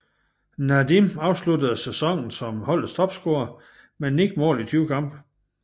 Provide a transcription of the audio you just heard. Nadim afsluttede sæsonen som holdets topscorer med 9 mål i 20 kampe